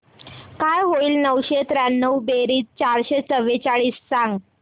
काय होईल नऊशे त्र्याण्णव बेरीज चारशे चव्वेचाळीस सांग